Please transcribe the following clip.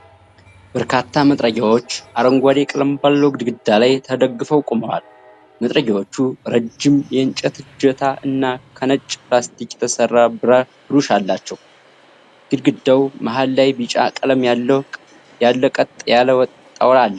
በርካታ መጥረጊያዎች አረንጓዴ ቀለም ባለው ግድግዳ ላይ ተደግፈው ቆመዋል። መጥረጊያዎቹ ረጅም የእንጨት እጀታ እና ከነጭ ፕላስቲክ የተሰራ ብሩሽ አላቸው። ግድግዳው መሃል ላይ ቢጫ ቀለም ያለው ቀጥ ያለ ጣውላ አለ።